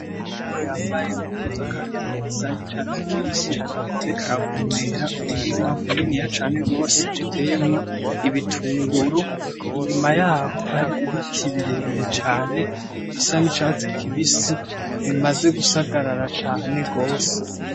Umukozi yambaye impuzu zakazi zisa n'icatsi kibisi ariko aravomera umurima muniniya cane gose uteyemwo, ibitunguru inyuma yaho hari ibiti birebire cane bisa n'icasi kibisi bimaze gusagarara cane gose.